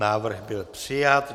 Návrh byl přijat.